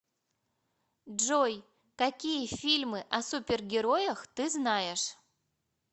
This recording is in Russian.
джой какие фильмы о супергероях ты знаешь